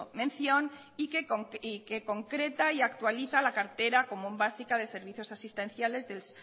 mención y que concreta y actualiza la cartera común básica de servicios asistenciales del